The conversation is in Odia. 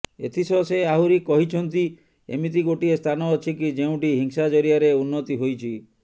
ଏଥିସହ ସେ ଆହୁରି କହିଛନ୍ତି ଏମିତି ଗୋଟିଏ ସ୍ଥାନ ଅଛି କି ଯେଉଁଠି ହିଂସା ଜରିଆରେ ଉନ୍ନତି ହୋଇଛି